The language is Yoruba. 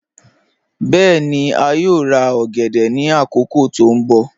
Bẹẹ̀ni, a yòò rà ogèdè ni akókò tó nbọ̀.